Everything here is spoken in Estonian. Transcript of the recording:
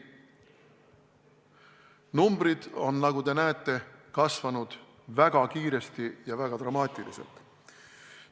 Numbrid on, nagu te näete, kasvanud väga kiiresti ja väga dramaatiliselt.